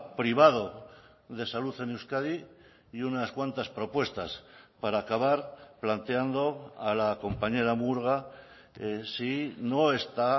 privado de salud en euskadi y unas cuantas propuestas para acabar planteando a la compañera murga si no está